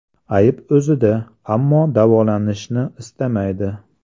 Ayb o‘zida, ammo davolanishni istamaydi.